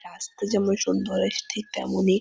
রাস্তা যেমন সুন্দর এশ-- ঠিইক তেমনিই--